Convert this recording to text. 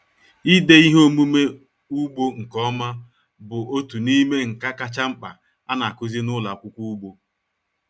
Ịde ihe omume ugbo nke ọma bụ otu n'ime nka kacha mkpa a na-akụzi n'ụlọ akwụkwọ ugbo.